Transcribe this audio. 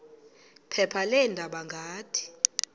phepha leendaba ngathi